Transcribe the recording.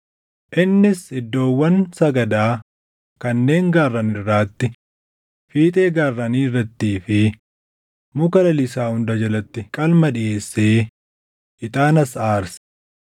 Innis iddoowwan sagadaa kanneen gaarran irraatti, fiixee gaarranii irrattii fi muka lalisaa hunda jalatti qalma dhiʼeessee, ixaanas aarse.